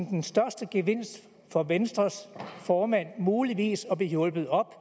den største gevinst for venstres formand muligvis at blive hjulpet op